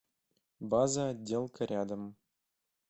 база отделка рядом